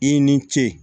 I ni ce